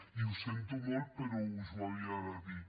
i ho sento molt però us ho havia de dir